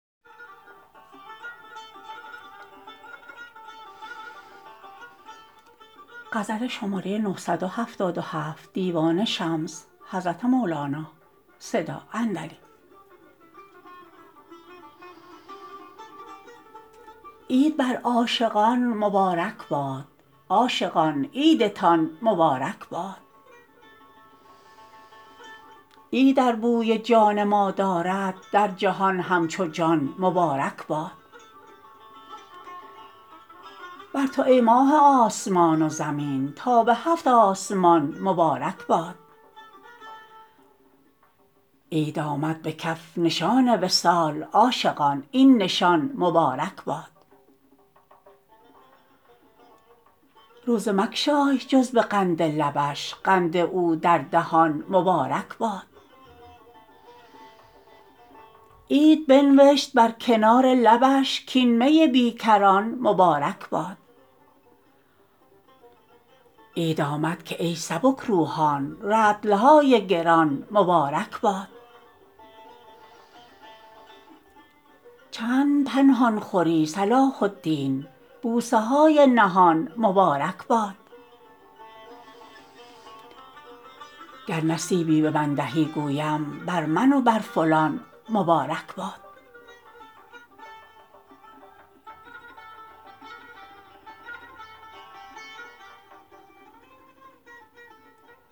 عید بر عاشقان مبارک باد عاشقان عیدتان مبارک باد عید ار بوی جان ما دارد در جهان همچو جان مبارک باد بر تو ای ماه آسمان و زمین تا به هفت آسمان مبارک باد عید آمد به کف نشان وصال عاشقان این نشان مبارک باد روزه مگشای جز به قند لبش قند او در دهان مبارک باد عید بنوشت بر کنار لبش کاین می بی کران مبارک باد عید آمد که ای سبک روحان رطل های گران مبارک باد چند پنهان خوری صلاح الدین بوسه های نهان مبارک باد گر نصیبی به من دهی گویم بر من و بر فلان مبارک باد